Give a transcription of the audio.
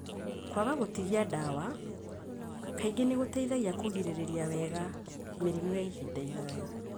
Kwaga gũtigia ndawa kaingĩ nĩ gũteithagia kũgirĩrĩria wega mĩrimũ ya ihinda iraya.